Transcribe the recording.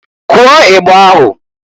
Kụọ igba ahụ!